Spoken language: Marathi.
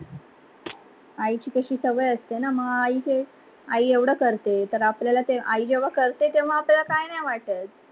आईची कसी सवय असते न मग आई एवढं करते. आई जेव्हा करते तेव्हा आपल्याला काही नाही वाटत.